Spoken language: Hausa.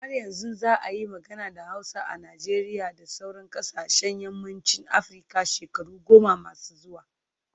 Har yanzu za a yi magana da Hausa a Najeriya da sauran kasashen yammacin Afirka shekaru goma masu zuwa